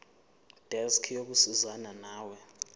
desk yokusizana nawe